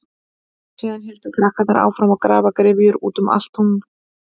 Síðan héldu krakkarnir áfram að grafa gryfjur út um allt tún.